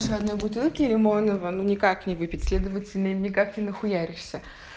одной бутылки лимонного ну никак не выпить следовательно им никак не нахуяришься